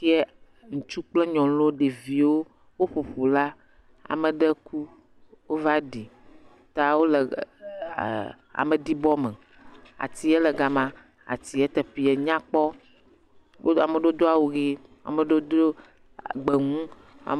Kiɛ, ŋutsuwo kple nyɔnuwo, ɖeviwo woƒo ƒu la. Ame ɖe ku, wova ɖi ta wole ɛɛ ameɖibɔme. Atiɛ le gama. Atiɛ teƒeɛ nyakpɔ. Wo ame ɖewo awu ʋe, ame ɖewo do gbemu.